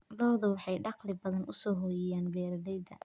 Lo'du waxay dakhli badan u soo hoyiyaan beeralayda.